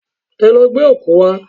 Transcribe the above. Ẹ lọ gbẹ́ ọ̀kú wá!